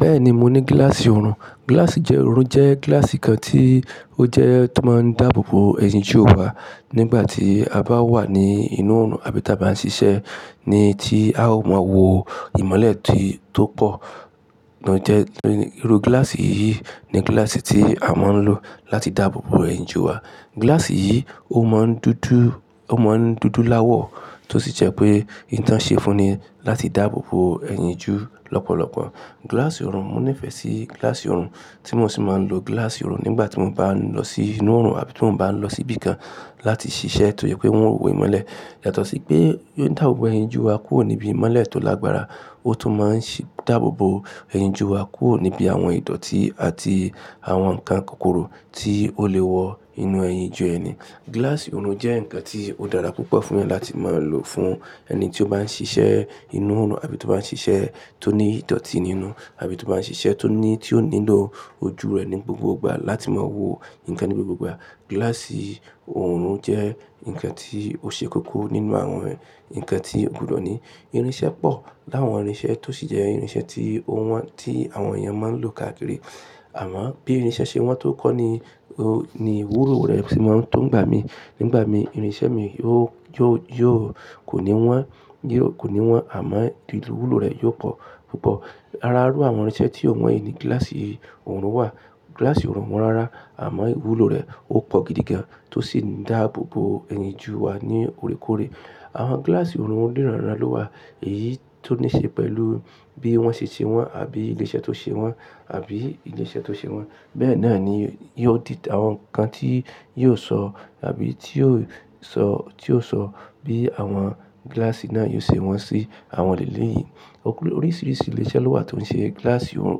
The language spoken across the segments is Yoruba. Bẹ́ẹ̀ni, mo ní gíláàsì ọ̀run. Gíláàsì ọ̀run jẹ́ gíláàsì kan tí ó jẹ́ tó máa ń dáàbò bo ẹ̀yìn Júù wa nígbà tí a bá wà ní inú oòrùn àbí tí a bá ń ṣiṣẹ́ ní tí a ò mọ wo ìmọ́lẹ̀ tó pọ̀. Òun jẹ́ irú gíláàsì yìí ni gíláàsì tí a máa ń lò láti dáàbò bo ẹ̀yìn Júù wa. Gíláàsì yìí ó máa ń dúdú, ó máa ń dúdú láwọ̀ tó sì jẹ́ pé ìtàn ṣe fún ni láti dáàbò bo ẹ̀yìn Júù lọ́pọ̀lọpọ̀. Gíláàsì ọ̀run, mo nífẹ̀ẹ́ sí gíláàsì ọ̀run tí mo sì máa ń lo gíláàsì ọ̀run nígbà tí mo bá ń lọ sí inú oòrùn àbí tí mo bá ń lọ sí ibi kan láti ṣiṣẹ́ tojẹ pé wọn ò wò ìmọ́lẹ̀. Yàtọ̀ sí pé ó ń dáàbò bo ẹ̀yìn Júù wa kúrò níbi ìmọ́lẹ̀ tó lágbára, ó tún máa ń ṣì dáàbò bo ẹ̀yìn Júù wa kúrò níbi àwọn ìdọ̀ọ̀tí àti àwọn nǹkan kokorò tí ó lè wọ inú ẹ̀yìn Júù ẹni. Gíláàsì ọ̀run jẹ́ ǹkan tí ó dára púpọ̀ fún ẹ láti máa lò fún ẹni tí ó bá ń ṣiṣẹ́ inú oòrùn àbí tó bá ń ṣiṣẹ́ tó ní ìdọ̀ọ̀tí nínú àbí tó bá ń ṣiṣẹ́ tó ní, tí ó nílò ojú rẹ̀ ní gbogbo ìgbà láti máa wo nǹkan ní gbogbo ìgbà. Gíláàsì ọ̀run jẹ́ nǹkan tí ó ṣe kókó nínú àwọn nǹkan tí ò gbọdọ̀ ní irinṣẹ́ pọ̀ láwọn irinṣẹ́ tó sì jẹ́ irinṣẹ́ tí ò wọ́n, tí àwọn èèyàn máa ń lò káàkiri. Àmọ́ bí irinṣẹ́ ṣe wọ́n tó kọ́ ni, ni iwúro rẹ̀ fì máa ń tó ń gba mi. Nígbà mi irinṣẹ́ mi yóò, yóò, yóò kò ní wọ́n, yóò kò ní wọ́n àmọ́ wúlò rẹ̀ yóò pọ̀ púpọ̀. Ara iru àwọn irinṣẹ́ tí ò wọ̀n yìí ni gíláàsì ọ̀run wà. Gíláàsì ọ̀run wọ́n rárá àmọ́ wúlò rẹ̀ ó pọ̀ gidi gan-an tó sì ń dáàbò bo ẹ̀yìn Júù wa ní òrékòré. Àwọn gíláàsì ọ̀run niránrán lọ wà èyí tó níí ṣe pẹ̀lú bí wọ́n ṣe ti wọ́n àbí ilé iṣẹ́ tó ṣe wọ́n àbí ilé iṣẹ́ tó ṣe wọ́n. Bẹ́ẹ̀ náà ni yóò di àwọn nǹkan tí yóò sọ àbí tí yóò sọ, tí yóò sọ bí àwọn gíláàsì náà yóò ṣe wọn sí àwọn ilẹ̀ lè yìí. Oríṣìíríṣìí ilé iṣẹ́ ló wà tí wọ́n ń ṣe gíláàsì ọ̀run,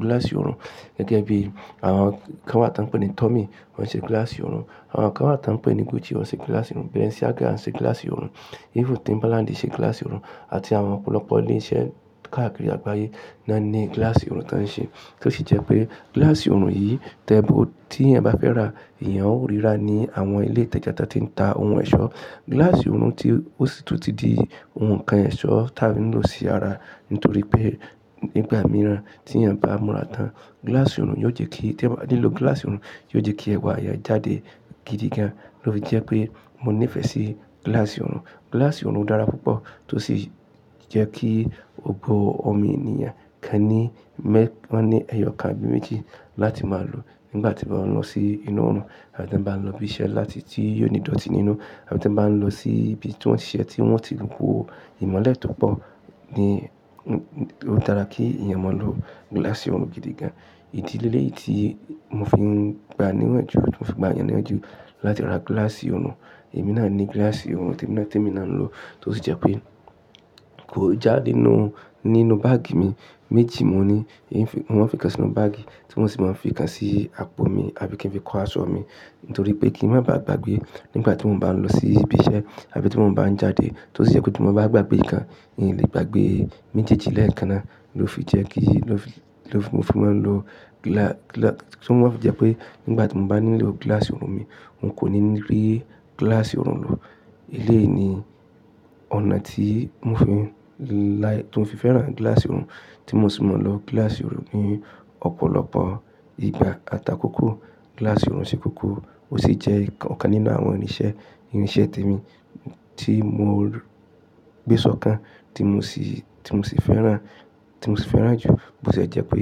gíláàsì ọ̀run gẹ́gẹ́ bí àwọn kan wa tí wọ́n ń pè ní Tommy wọ́n ń ṣe gíláàsì ọ̀run. Àwọn kan wa tí wọ́n ń pè ní Gucci wọ́n ṣe gíláàsì ọ̀run. Versace wọ́n ṣe gíláàsì ọ̀run. Even Timbaland ṣe gíláàsì ọ̀run àti àwọn ọ̀pọ̀lọpọ̀ ilé iṣẹ́ káàkiri àgbáyé náà ní gíláàsì ọ̀run tán ṣe. Tó sì jẹ́ pé gíláàsì ọ̀run yìí tẹ́bó tí èèyàn bá fẹ́ rà, èèyàn ó ríra ní àwọn ilé ìtajà tí wọ́n ti ń ta ohun ẹ̀ṣọ́. Gíláàsì ọ̀run tí ó sì tún di ohun kan ẹ̀ṣọ́ tí à ń lò sí ara nítorí pé nígbà mìíràn tí ẹ̀ bá múra tán, gíláàsì ọ̀run yóò jẹ́ kí tẹ máa nílò gíláàsì ọ̀run, yóò jẹ́ kí ẹwà rẹ jáde gidi gan-an. Lo fi jẹ́ pé mo nífẹ̀ẹ́ sí gíláàsì ọ̀run. Gíláàsì ọ̀run dára púpọ̀ tó sì jẹ́ kí ògbó omi ènìyàn kan ní mẹ́, wọ́n ní ẹyọ kan bí méjì láti máa lò nígbà tí wọn lọ sí inú oòrùn àbí tí wọ́n bá lọ bí iṣẹ́ láti tí yóò ní ìdọ̀ọ̀tí nínú àbí tí wọ́n bá ń lọ sí ibi tí wọ́n ti ṣe ẹ́ tí wọ́n ti wó ìmọ́lẹ̀ tó pọ̀ ní ó dára kí èèyàn máa lò gíláàsì ọ̀run gidi gan-an. Ìdílé lè yìí tí mo fi ń gba níwájú, tí mo fi ń gba èèyàn níwájú láti ra gíláàsì ọ̀run, èmi náà ní gíláàsì ọ̀run tí èmi náà tí èmi náà ń lò tó sì jẹ́ pé kò jáde nínú, nínú báàgì mi. Méjì mo ní, mo máa ń fi kan sínú báàgì tí mo sì máa ń fi kan sí àpò mi àbí kí n fi kó aṣọ mi nítorí pé kí ń má ba à gbàgbé nígbà tí mo bá ń lọ sí ibi iṣẹ́ àbí tí mo bá ń jáde tó sì jẹ́ kí mo bá gbàgbé kan, mo lè gbàgbé méjèèjì lẹ́ẹ̀kan náà ló fi jẹ́ kí ló fi, ló fi, mo fi máa ń lo gílá, gílá-- tí wọ́n bá fi jẹ́ pé nígbà tí mo bá nílò gíláàsì ọ̀run mi, n kò ní ní rí gíláàsì ọ̀run lò. Eléyìí ni ọ̀nà tí mo fi láì, tí mo fi fẹ́ràn gíláàsì ọ̀run tí mo sì máa ń lo gíláàsì ọ̀run ní ọ̀pọ̀lọpọ̀ ìgbà. Àtàkókò gíláàsì ọ̀run ṣe kókó ó sì jẹ́ ọ̀kan nínú àwọn irinṣẹ́, irinṣẹ́ tèmi tí mo gbé sọ́kàn tí mo sì, tí mo sì fẹ́ràn, tí mo sì fẹ́ràn jù bó ṣe jẹ́ pé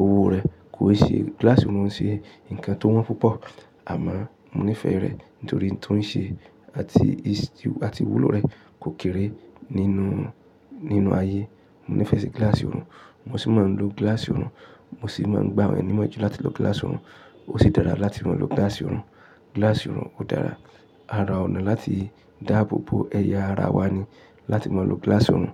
owó rẹ̀ kò ṣe, gíláàsì ọ̀run ṣe nǹkan tó wọ́n púpọ̀ àmọ́ mo nífẹ̀ẹ́ rẹ̀ nítorí tó ń ṣe àti, àti wúlò rẹ̀ kò kéré nínú, nínú ayé. Mo nífẹ̀ẹ́ sí gíláàsì ọ̀run. Mo sì máa ń lo gíláàsì ọ̀run. Mo sì máa ń gba àwọn ẹni mọ́ jù láti lo gíláàsì ọ̀run. Ó sì dára láti máa lo gíláàsì ọ̀run. Gíláàsì ọ̀run ó dára. Ara ọ̀nà láti dáàbò bo ẹ̀yà ara wa ni láti máa lo gíláàsì ọ̀run.